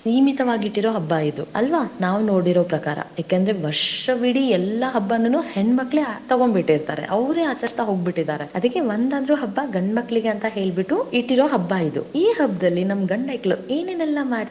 ಸೀಮಿತವಾಗಿಟ್ಟಿರುವ ಹಬ್ಬಾ ಇದು ಅಲ್ವಾ ನಾವು ನೋಡಿರೋ ಪ್ರಕಾರ ಏಕೆಂದರೆ ವರ್ಷವಿಡೀ ಎಲ್ಲಾ ಹಬ್ಬಾನುನು ಹೆಣ್ಣಮಕ್ಕಳೇ ತೊಗೊಂಡ ಬಿಟ್ಟಿರ್ತಾರೆ ಅವ್ರೆ ಆಚರಸ್ತಾ ಹೋಗ್ಬಿಟ್ಟಿದರೆ ಅದಕ್ಕೆ ಒಂದ ಆದ್ರೂ ಹಬ್ಬ ಗಂಡ ಮಕ್ಕಳಿಗೆ ಅಂತ ಹೇಳಿಬಿಟ್ಟು ಇಟ್ಟಿರೋ ಹಬ್ಬ ಇದು, ಈ ಹಬ್ಬಾದಲ್ಲಿ ನಮ್ಮ ಗಂಡ ಹೈಕ್ಳು ಏನೇನೇಲ್ಲಾ.